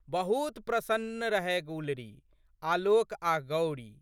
बहुत प्रशन्न रहए गुलरी आलोक आ गौरी।